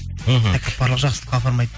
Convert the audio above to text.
мхм тәкаппарлық жақсылыққа апармайды